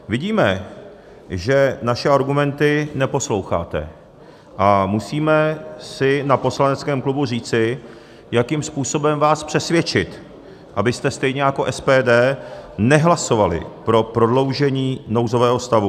Vidíme, že naše argumenty neposloucháte, a musíme si na poslaneckém klubu říci, jakým způsobem vás přesvědčit, abyste stejně jako SPD nehlasovali pro prodloužení nouzového stavu.